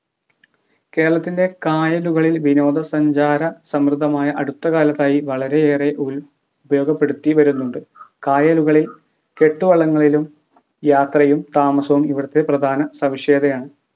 കേരളത്തിൻ്റെ കായലുകളിൽ വിനോദ സഞ്ചാര സമൃദമായ അടുത്തകാലത്തായി വളരെയേറെ ഉൾ ഉപയോഗപ്പെടുത്തി വരുന്നുണ്ട് കായലുകളിൽ കെട്ടുവള്ളങ്ങളിലും യാത്രയും താമസവും ഇവിടത്തെ പ്രധാന സവിശേഷതയാണ്